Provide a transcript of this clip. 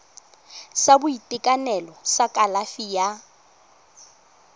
sa boitekanelo sa kalafi ya